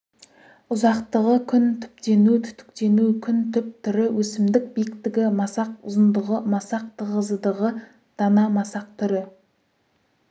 ұзақтығы күн түптену-түтіктену күн түп түрі өсімдік биіктігі масақ ұзындығы масақ тығызыдығы дана масақ түрі